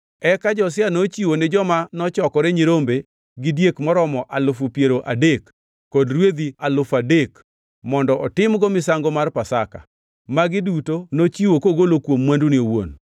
Eka Josia nochiwo ni joma nochokore nyirombe gi diek moromo alufu piero adek kod rwedhi alufu adek mondo otimgo misango mar Pasaka. Magi duto nochiwo kogolo kuom mwandune owuon.